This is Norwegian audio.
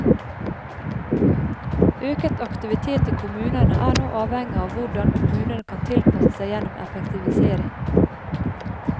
Øket aktivitet i kommunene er nå avhengig av hvordan kommunene kan tilpasse seg gjennom effektivisering.